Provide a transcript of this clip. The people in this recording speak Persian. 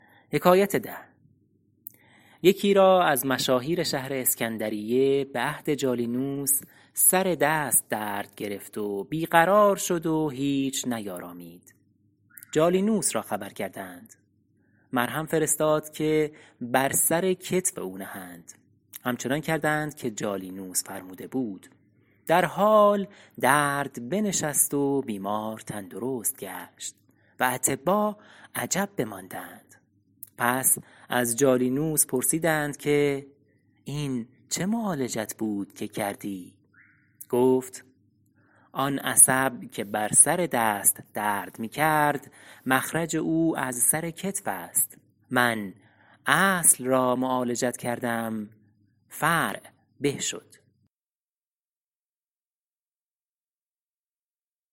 یکی را از مشاهیر شهر اسکندریه به عهد جالینوس سر دست درد گرفت و بی قرار شد و هیچ نیارامید جالینوس را خبر کردند مرهم فرستاد که بر سر کتف او نهند همچنان کردند که جالینوس فرموده بود در حال درد بنشست و بیمار تندرست گشت و اطبا عجب بماندند پس از جالینوس پرسیدند که این چه معالجت بود که کردی گفت آن عصب که بر سر دست درد می کرد مخرج او از سر کتف است من اصل را معالجت کردم فرع به شد